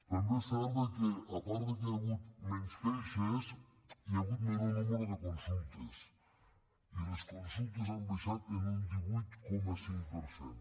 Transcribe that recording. també és cert que a part que hi ha hagut menys queixes hi ha hagut menor nombre de consultes i les consultes han baixat en un divuit coma cinc per cent